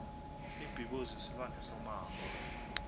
ibhubezi silwane somango